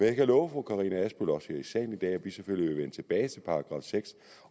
jeg kan love fru karina adsbøl også her i salen i dag at vi selvfølgelig vil vende tilbage til § sjette